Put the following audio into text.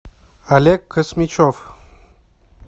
олег космичев